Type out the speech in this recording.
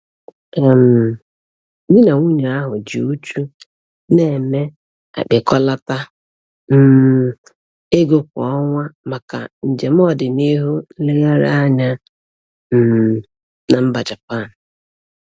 um Di na nwunye ahụ ji uchu na-eme akpịkọlata um ego kwa ọnwa maka njem ọdịnihu nlegharị anya um na mba Japan.